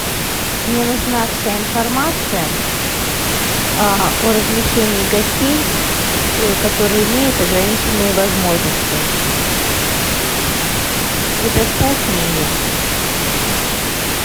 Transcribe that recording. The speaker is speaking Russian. мне нужна вся информация о размещении гостей которые имеют ограниченные возможности предоставь мне ее